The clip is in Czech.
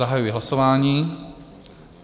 Zahajuji hlasování.